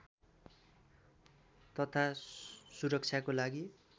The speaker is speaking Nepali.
तथा सुरक्षाको लागि